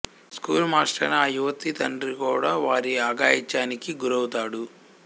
school మాస్టరైన ఆ యువతి తండ్రి కూడా వారి అఘాయిత్యానికి గురవుతాడు